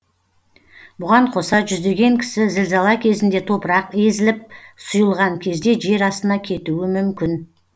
бұған қоса жүздеген кісі зілзала кезінде топырақ езіліп сұйылған кезде жер астына кетуі мүмкін